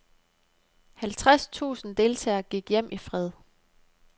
Halvtreds tusinde deltagere gik hjem i fred.